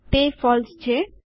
તે ફોલ્સ છે